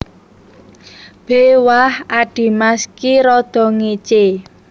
B Wah adhimas ki rada ngécé